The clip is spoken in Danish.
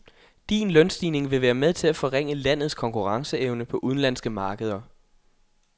Din lønstigning vil være med til at forringe landets konkurrenceevne på udenlandske markeder.